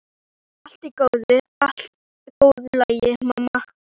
Þetta verður allt í góðu lagi, mamma.